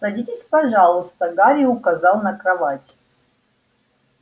садитесь пожалуйста гарри указал на кровать